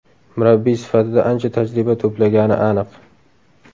Murabbiy sifatida ancha tajriba to‘plagani aniq.